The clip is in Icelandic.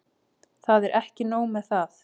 Það er ekki nóg með það.